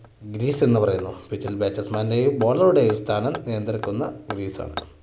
greece എന്ന് പറയുന്നു pitch ൽ batsman ന്റെയും bowler ടെയും സ്ഥാനം നിയന്ത്രിക്കുന്ന greece ആണ്.